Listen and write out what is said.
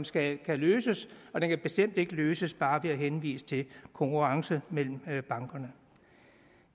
skal løses og den kan bestemt ikke løses bare ved at henvise til konkurrence mellem bankerne